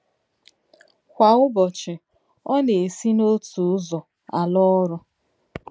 Kwa ụbọchị, ọ na-esi n’otu ụzọ ala ọrụ.